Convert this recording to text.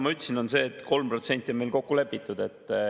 Ma ütlesin seda, et 3% on meil kokku lepitud.